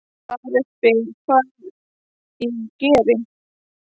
Ari spyr hvað ég geri.